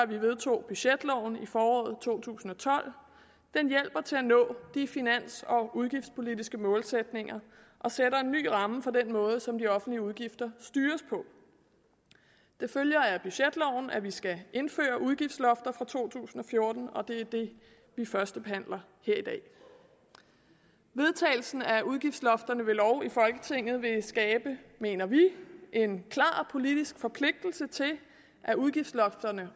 vi vedtog budgetloven i foråret to tusind og tolv den hjælper til at nå de finans og udgiftspolitiske målsætninger og sætter en ny ramme for den måde som de offentlige udgifter styres på det følger af budgetloven at vi skal indføre udgiftslofter for to tusind og fjorten og det er det vi førstebehandler her i dag vedtagelsen af udgiftslofterne ved lov i folketinget vil skabe mener vi en klar politisk forpligtelse til at udgiftslofterne